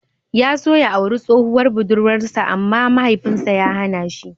Ya so ya auri tsohuwar budurwar sa amma Mahaifin sa ya hana shi.